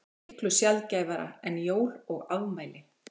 Miklu sjaldgæfara en jól og afmæli.